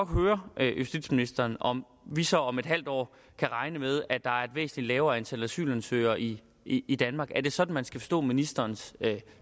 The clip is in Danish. høre justitsministeren om vi så om et halvt år kan regne med at der er et væsentlig lavere antal asylansøgere i i danmark er det sådan man skal forstå ministerens